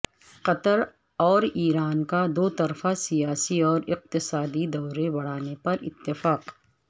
قطر اورایران کا دو طرفہ سیاسی اور اقتصادی دورے بڑھانے پر اتفاق